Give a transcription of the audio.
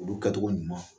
Olu kɛcogo ɲuman